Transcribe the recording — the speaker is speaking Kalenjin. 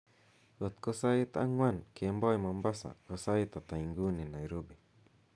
kotko sait ang'wan kemboi mombasa ko sait ata inguni nairobi